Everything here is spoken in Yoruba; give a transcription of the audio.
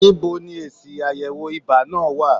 Níbo ni èsì àyẹ̀wò ibà náà wà?